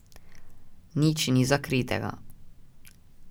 Nič ni zakritega.